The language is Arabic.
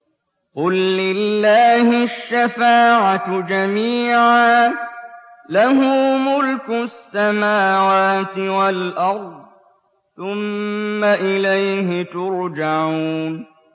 قُل لِّلَّهِ الشَّفَاعَةُ جَمِيعًا ۖ لَّهُ مُلْكُ السَّمَاوَاتِ وَالْأَرْضِ ۖ ثُمَّ إِلَيْهِ تُرْجَعُونَ